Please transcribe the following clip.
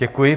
Děkuji.